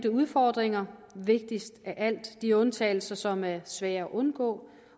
udfordringer og vigtigst af alt af de undtagelser som er svære at undgå